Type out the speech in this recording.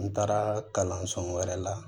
N taara kalanso wɛrɛ la